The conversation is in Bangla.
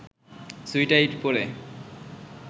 সুট-টাই পরে